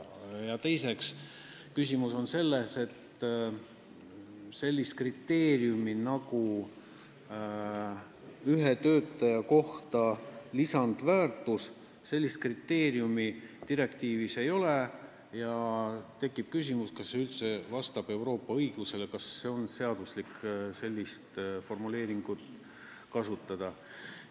Ja teiseks on küsimus selles, et sellist kriteeriumi nagu lisandväärtus ühe töötaja kohta direktiivis ei ole ja tekib küsimus, kas Euroopa õiguses ikka võib sellist formuleeringut kasutada.